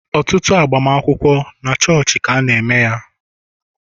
Ọtụtụ agbamakwụkwọ, na chọọchị ka ana -eme ya.